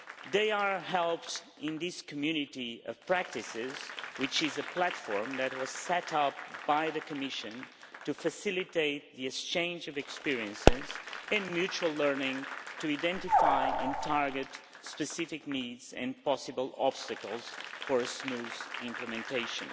They are helped in this Community of Practices, which is a platform that was set up by the Commission to facilitate the exchange of experiences and mutual learning to identify and target specific needs and possible obstacles for smooth implementation.